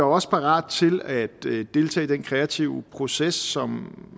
også parate til at deltage i den kreative proces som